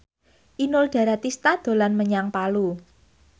Inul Daratista dolan menyang Palu